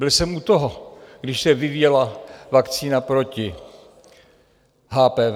Byl jsem u toho, když se vyvíjela vakcína proti HPV.